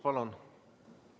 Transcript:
Palun!